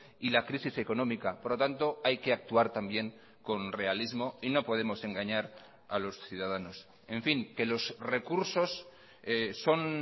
y la crisis económica por lo tanto hay que actuar también con realismo y no podemos engañar a los ciudadanos en fin que los recursos son